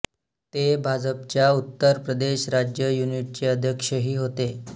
ते भाजपच्या उत्तर प्रदेश राज्य युनिटचे अध्यक्षही होते